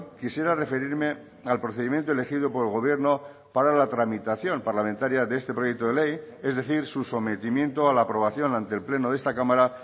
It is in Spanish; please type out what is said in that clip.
quisiera referirme al procedimiento elegido por el gobierno para la tramitación parlamentaria de este proyecto de ley es decir su sometimiento a la aprobación ante el pleno de esta cámara